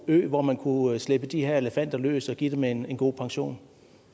ø hvor man kunne slippe de her elefanter løs og give dem en god pension